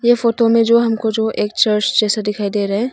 ये फोटो में जो हमको जो एक चर्च जैसा दिखाई दे रहा है।